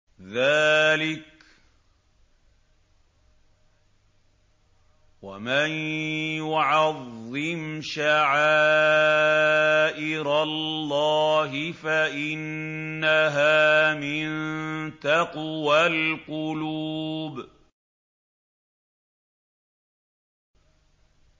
ذَٰلِكَ وَمَن يُعَظِّمْ شَعَائِرَ اللَّهِ فَإِنَّهَا مِن تَقْوَى الْقُلُوبِ